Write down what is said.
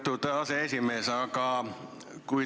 Lugupeetud aseesimees!